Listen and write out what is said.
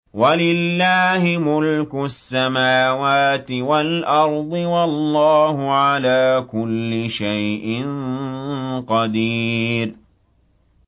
وَلِلَّهِ مُلْكُ السَّمَاوَاتِ وَالْأَرْضِ ۗ وَاللَّهُ عَلَىٰ كُلِّ شَيْءٍ قَدِيرٌ